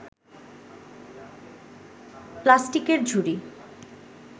প্লাস্টিকের ঝুড়ি